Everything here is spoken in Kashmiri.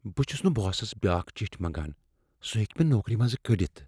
بہٕ چُھس نہٕ باسس بیٚاكھ چِھٹۍ منٛگان۔ سُہ ہٮ۪کہ مےٚ نوکری منزٕ كڈِتھ۔